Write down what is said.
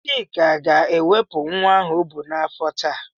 Chika ga-ewepụ nwa ahụ ọ bụ n'afọ taa.